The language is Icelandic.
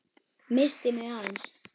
Missti mig aðeins.